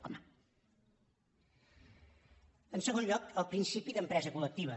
home en segon lloc el principi d’empresa col·lectiva